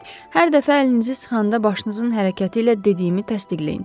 Hər dəfə əlinizi sıxanda başınızın hərəkəti ilə dediyimi təsdiqləyin.